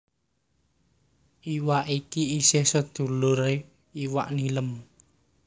Iwak iki isih seduluré iwak nilem